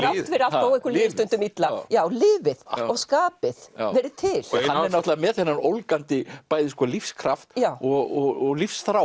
allt þó ykkur líði stundum illa og já lifið og skapið verið til hann er náttúrulega með þennan ólgandi bæði sko lífskraft og